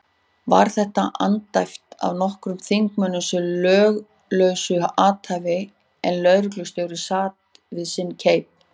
Var þessu andæft af nokkrum þingmönnum sem löglausu athæfi, en lögreglustjóri sat við sinn keip.